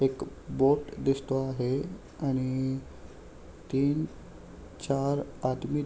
एक बोट दिसतो आहे आणि तीन चार आदमी--